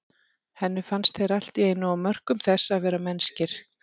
Henni fannst þeir allt í einu á mörkum þess að vera mennskir.